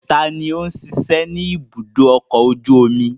Ta ni ó ń ṣiṣẹ́ ní ibùdó ọkọ̀ ojú omi?